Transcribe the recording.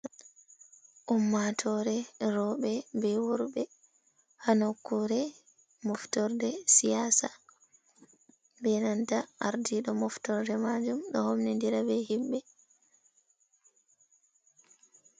Ummatore rowɓe be worɓe ha nukkore moftorde siyasa be nanta ardiɗo moftorde majum ɗo homni ndira be himɓe.